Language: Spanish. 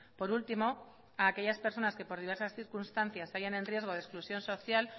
por último a aquellas personas que por diversas circunstancias se hallan en riesgo de exclusión social